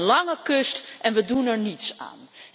We hebben een lange kust en we doen er niets aan.